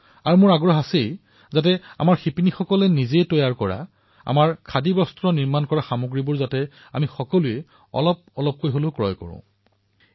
আৰু মোৰ আগ্ৰহ এয়াই যে আমাৰ শিপিনীসকলে বোৱা আমাৰ খাদী সামগ্ৰীসমূহৰ কিবা নহয় কিবা এটা আমি ক্ৰয় কৰিব লাগে